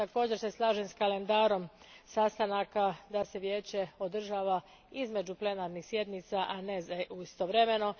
Također se slažem s kalendarom sastanaka da se Vijeće održava između plenarnih sjednica a ne istovremeno.